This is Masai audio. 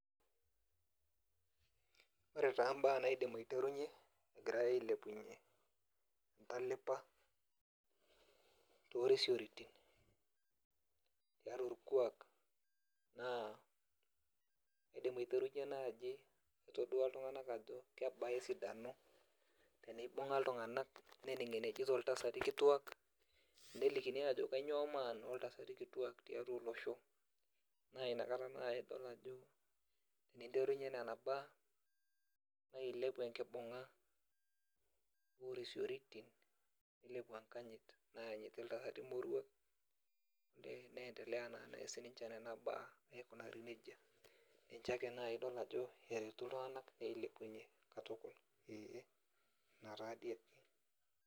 Ore taa imbaa naidim aiterunyie egirai ailepunyie orkuak entalipa toorisiorotin tiatua orkuak naa ailiki iltung'anak ajo kebaa esidano tenibung'a iltung'anak nening' enejito oltasati kituaak nelikini ajo kainyioo maana oltasati kituaak tiatua olosho naa ina naai nanu adol ajo eninterunyie nena baa neleleku enkibung'a orisioritin nilepu enkanyit enaa enejo iltasati moruak.